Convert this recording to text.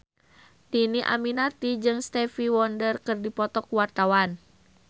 Dhini Aminarti jeung Stevie Wonder keur dipoto ku wartawan